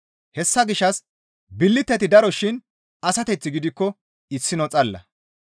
Hessa gishshas billiteti daro shin asateththi gidikko issino xalla.